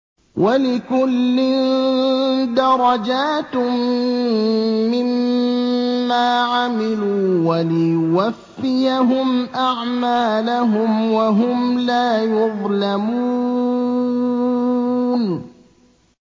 وَلِكُلٍّ دَرَجَاتٌ مِّمَّا عَمِلُوا ۖ وَلِيُوَفِّيَهُمْ أَعْمَالَهُمْ وَهُمْ لَا يُظْلَمُونَ